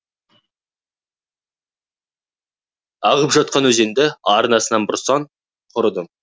ағып жатқан өзенді арнасынан бұрсаң құрыдың